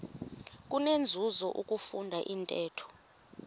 kunenzuzo ukufunda intetho